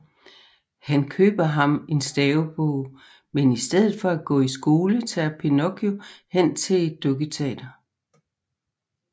Han køber ham en stavebog men i stedet for at gå i skole tager Pinocchio hen til et dukketeater